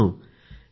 मित्रांनो